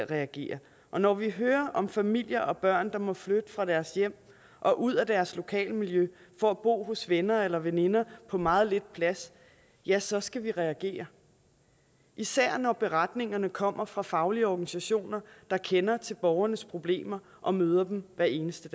reagere og når vi hører om familier og børn der må flytte fra deres hjem og ud af deres lokalmiljø for at bo hos venner eller veninder på meget lidt plads ja så skal vi reagere især når beretningerne kommer fra faglige organisationer der kender til borgernes problemer og møder dem hver eneste